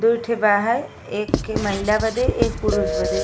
दुइ ठे बा है। एक खे महिला बदे एक पुरुष बदे।